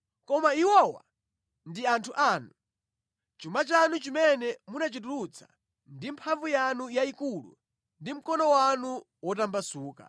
Koma iwowa ndi anthu anu, chuma chanu chimene munachitulutsa ndi mphamvu yanu yayikulu ndi mkono wanu wotambasuka.”